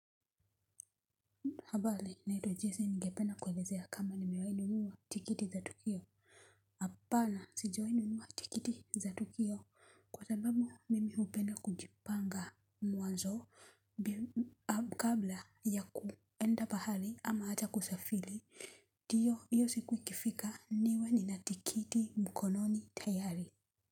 Habari, naitwa Jesi ningependa kuelezea kama nimewahi nunua tikiti za tukio. Hapana, sijawahi nunua tikiti za tukio kwa sababu mimi hupenda kujipanga mwanzo. Kabla ya kuenda pahali ama hata kusafiri ndio hiyo siku ikifika niwe nina tikiti mkononi tayari.